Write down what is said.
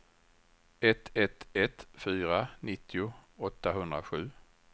ett ett ett fyra nittio åttahundrasju